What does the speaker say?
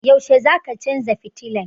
Yaushe zaka canza fitilan?